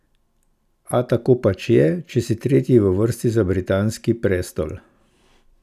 A tako pač je, če si tretji v vrsti za britanski prestol!